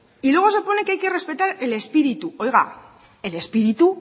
y luego se pone que hay que respetar el espíritu oiga el espíritu